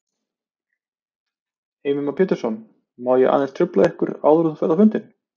Heimir Már Pétursson: Má ég aðeins trufla þig áður en þú ferð á fundinn?